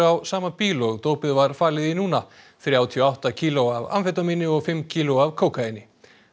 á sama bíl og dópið var falið í núna þrjátíu og átta kíló af amfetamíni og fimm kíló af kókaíni